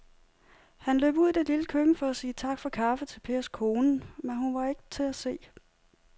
Han løb ud i det lille køkken for at sige tak for kaffe til Pers kone, men hun var ikke til at se.